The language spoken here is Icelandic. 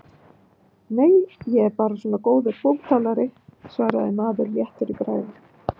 Nei, ég er bara svona góður búktalari, svaraði maður léttur í bragði.